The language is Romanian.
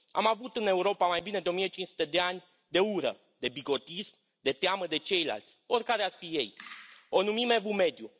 Am avut în Europa mai bine de 1500 de ani de ură, de bigotism, de teamă de ceilalți, oricare ar fi ei, o numim Evul Mediu.